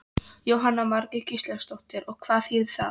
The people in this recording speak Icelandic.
Jóhanna Margrét Gísladóttir: Og hvað þýðir það?